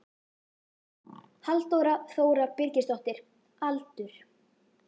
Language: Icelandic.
Halldóra Þóra Birgisdóttir Aldur?